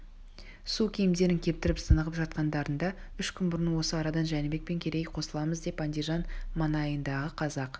су киімдерін кептіріп тынығып жатқандарында үш күн бұрын осы арадан жәнібек пен керейге қосыламыз деп андижан маңайындағы қазақ